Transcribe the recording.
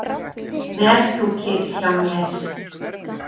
Ver þú kyrr hjá mér.